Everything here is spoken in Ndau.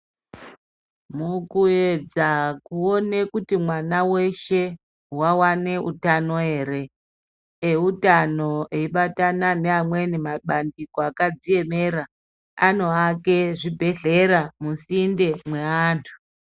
Mukuedza kuone kuti mwana weshe wawane utano ere? Eutano eibatana neamweni mabandiko akadziemera, anoake zvibhedhlera musinde mweanthu.